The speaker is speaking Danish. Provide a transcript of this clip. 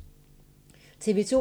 TV 2